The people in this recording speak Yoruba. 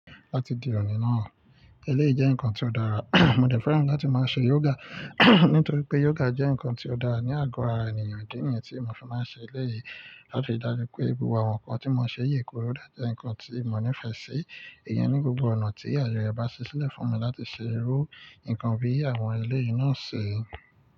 Láti di òní náà, eléyìí jẹ́ nǹkan tí ó dára. Mo dẹ fẹran láti máa ṣe yoga, nítorí pé yoga jẹ́ nǹkan tí ó dára ní àgọ́ ara ènìyàn. Idi niyẹn tí mo fi máa n ṣe eléyìí, láti ri dájú pé gbogbo àwọn nǹkan tí mo n ṣe yi kóró dájẹ́ nǹkan tí mo nífẹ̀ẹ́ sí. Ìyẹn ni gbogbo ọ̀nà tí àye rẹ̀ bá ṣi sílẹ̀ fún mi láti ṣe irú nǹkan bí i àwọn eléyìí náà ṣi.